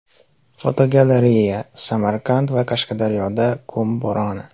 Fotogalereya: Samarqand va Qashqadaryoda qum bo‘roni.